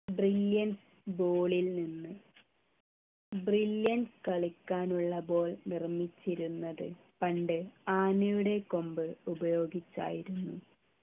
brilliance ball ൽ നിന്നു brilliance കളിക്കാനുള്ള ball നിർമ്മിച്ചിരുന്നത് പണ്ട് ആനയുടെ കൊമ്പ് ഉപയോഗിച്ചയിരുന്നു